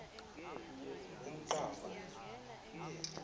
umqango